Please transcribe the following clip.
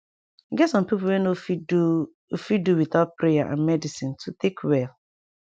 e get sum pipu wey no fit do fit do wit out prayer and medicine to take well